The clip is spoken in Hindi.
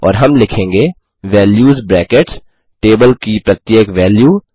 और हम लिखेंगे वैल्यूज ब्रैकेट्स टेबल की प्रत्येक वैल्यू